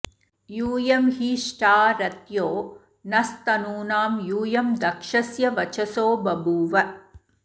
यूयं हि ष्ठा रथ्यो नस्तनूनां यूयं दक्षस्य वचसो बभूव